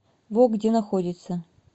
вог где находится